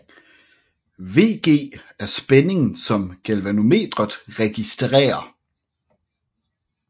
VG er spændingen som galvanometret registrerer